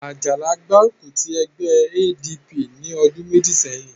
Àjàlá gbárùkù ti ẹgbẹ́ ADP ní ọdún méjì sẹ́yìn